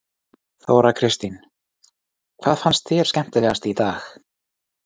Þóra Kristín: Hvað fannst þér skemmtilegast í dag?